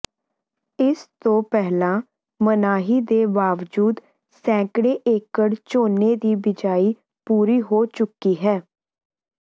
ਇਸ ਤੋ ਪਹਿਲਾਂ ਮਨਾਹੀ ਦੇ ਬਾਵਜੂਦ ਸੈਕੜੇ ਏਕੜ ਝੋਨੇ ਦੀ ਬੀਜਾਈ ਪੂਰੀ ਹੋ ਚੁੱਕੀ ਹੈ